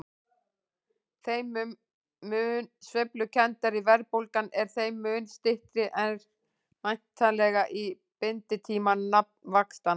Þeim mun sveiflukenndari verðbólgan er þeim mun styttri er væntanlega binditími nafnvaxtanna.